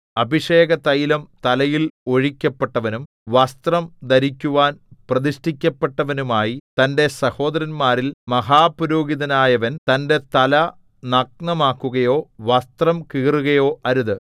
അഭിഷേകതൈലം തലയിൽ ഒഴിക്കപ്പെട്ടവനും വസ്ത്രം ധരിക്കുവാൻ പ്രതിഷ്ഠിക്കപ്പെട്ടവനുമായി തന്റെ സഹോദരന്മാരിൽ മഹാപുരോഹിതനായവൻ തന്റെ തല നഗ്നമാക്കുകയോ വസ്ത്രം കീറുകയോ അരുത്